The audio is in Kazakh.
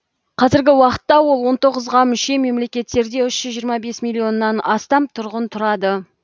қазіргі уақытта ол он тоғызға мүше мемлекеттерде үш жүз жиырма бес миллионнан астам тұрғын тұрады